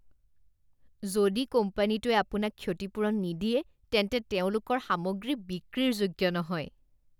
যদি কোম্পানীটোৱে আপোনাক ক্ষতিপূৰণ নিদিয়ে তেন্তে তেওঁলোকৰ সামগ্ৰী বিক্ৰীৰ যোগ্য নহয়